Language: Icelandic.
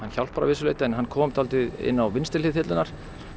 hjálpar að vissu leyti en hann kom dálítið inn á vinstri hlið þyrlunnar